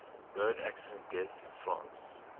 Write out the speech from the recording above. road accident deaths in france